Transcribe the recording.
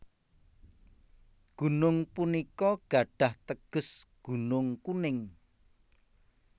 Gunung punika gadhah teges Gunung Kuning